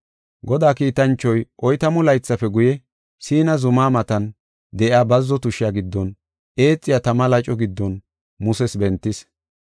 “Godaa kiitanchoy oytamu laythafe guye, Siina zuma matan de7iya bazzo tushiya giddon eexiya tama laco giddon Muses bentis.